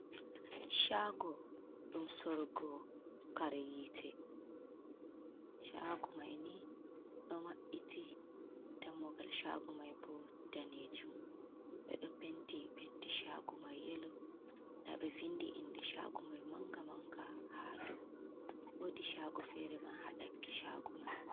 Chago, ɗum sorugo kare yite, chagu mai ni ɗo mabbiti dammugal shagu mai bo danejum ɓedo penti penti shagu mai yelo, da ɓe vindi inde shagu mai manga manga, hadau wodi shago fere man haɗaki shagu mai.